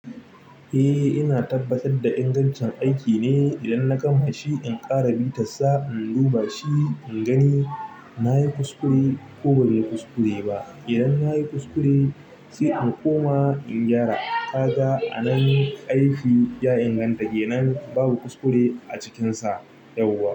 Eh ina tabbatar da ingancin aiki ne idan na kama shi in ƙara mita sa in duba shi in gani nayi kuskure ko banyi kuskure ba. Idan yayi kuskure sai in koma in gyara. Kaga a nan aiki ya inganta kenan babu kuskure a cikinsa yauwa.